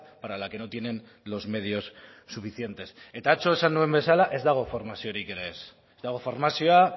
para la que no tienen los medios suficientes eta atzo esan nuen bezala ez dago formaziorik ere ez ez dago formazioa